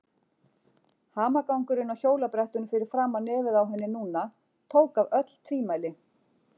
Hamagangurinn á hjólabrettinu fyrir framan nefið á henni núna tók af öll tvímæli.